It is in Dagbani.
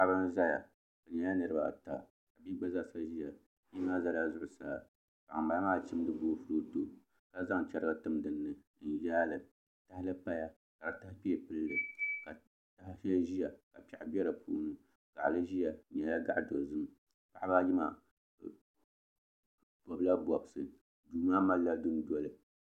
Paɣi bin n zaya bɛ nyɛla niribi baa a ta bii gba zaa ʒaya o zala zuɣusaa ka ŋun bala maa chimdi boofuroto ka zaŋ chɛrigi n timdini n yaali tahali paya ka di taha kpee pilli ka taha shɛli ʒia ka piɛɣu bɛ dipuuni gali ʒia di nyɛla gaɣi dozim paɣa baa yimaa bɛ gbula bobisi dumaa malla dundoli